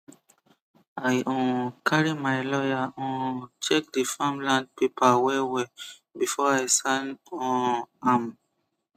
i um carry my lawyer um check the farmland paper wellwell before i sign um am